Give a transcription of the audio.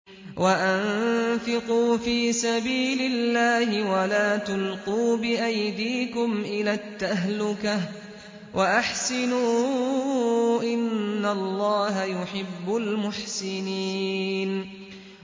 وَأَنفِقُوا فِي سَبِيلِ اللَّهِ وَلَا تُلْقُوا بِأَيْدِيكُمْ إِلَى التَّهْلُكَةِ ۛ وَأَحْسِنُوا ۛ إِنَّ اللَّهَ يُحِبُّ الْمُحْسِنِينَ